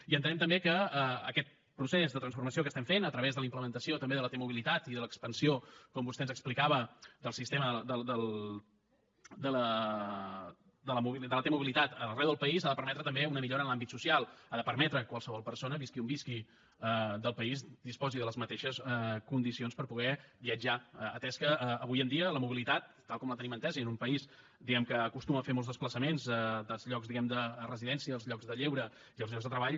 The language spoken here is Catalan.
i entenem que aquest procés de transformació que estem fent a través de la implementació també de la t mobilitat i de l’expansió com vostè ens explicava del sistema de la t mobilitat arreu del país ha de permetre també una millora en l’àmbit social ha de permetre que qualsevol persona visqui on visqui del país disposi de les mateixes condicions per poder viatjar atès que avui en dia la mobilitat tal com la tenim entesa i en un país diguem ne que acostuma a fer molts desplaçaments dels llocs de residència als llocs de lleure i als llocs de treball